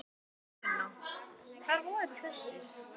Sunna: Hvar voru þessir?